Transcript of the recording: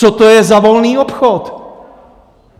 Co to je za volný obchod?